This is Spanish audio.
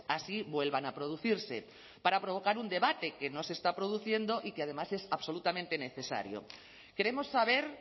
así vuelvan a producirse para provocar un debate que no se está produciendo y que además es absolutamente necesario queremos saber